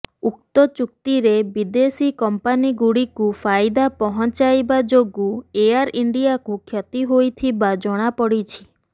ଉକ୍ତ ଚୁକ୍ତିରେ ବିଦେଶୀ କମ୍ପାନୀଗୁଡିକୁ ଫାଇଦା ପହଂଚାଇବା ଯୋଗୁଁ ଏୟାର୍ ଇଣ୍ଡିଆକୁ କ୍ଷତି ହୋଇଥିବା ଜଣାପଡ଼ିଥିଲା